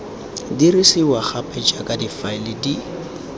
dirisiwa gape jaaka difaele di